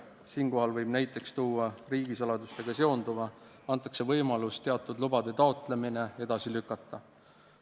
Siinkohal võib näiteks tuua riigisaladusega seonduva, mille korral antakse võimalus teatud lubade taotlemist edasi lükata.